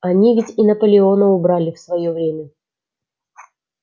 они ведь и наполеона убрали в своё время